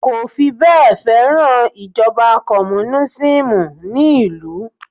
kò fibẹ́e feran ijoba komunisimu ni ilu